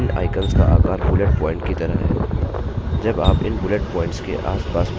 आप देख सकते हैं कि इन icons का आकार bullet प्वॉइंट की तरह है